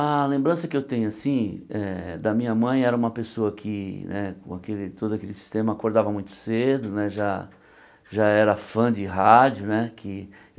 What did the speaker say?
A lembrança que eu tenho assim eh da minha mãe era uma pessoa que né, com aquele todo aquele sistema, acordava muito cedo né, já já era fã de rádio né que.